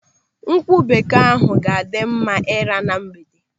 Nkwụ bekee ahụ ga-adị mma ị́rà na mgbede.